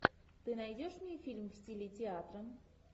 ты найдешь мне фильм в стиле театра